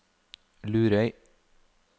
Lurøy